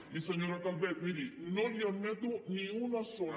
i senyora calvet miri no li admeto ni una sola